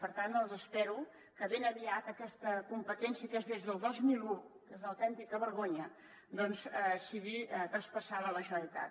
per tant espero que ben aviat aquesta competència que és del dos mil un és una autèntica vergonya doncs sigui tras·passada a la generalitat